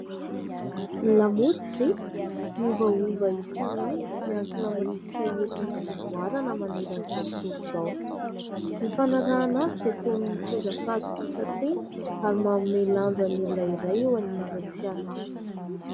Ny lamaody ve ? miovaova isan'andro miankina amin'ny rivotra entin'ny fivoarana manerana izao tontolo izao. Ny fanarahana azy dia toy ny mitondra fatokisan-tena ary manome lanja ny olona iray eo anivon'ny fiarahamonina.